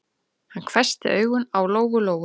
Hann hvessti augun á Lóu-Lóu.